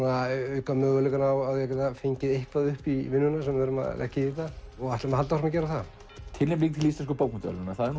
auka möguleikana á að fá eitthvað upp í vinnuna sem við leggjum í þetta og ætlum að halda áfram að gera það tilnefning til Íslensku bókmenntaverðlaunanna það